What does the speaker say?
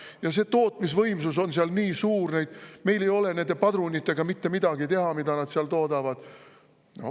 Ja see tootmisvõimsus on seal nii suur, meil ei ole mitte midagi teha nende padrunitega, mida nad seal toodavad.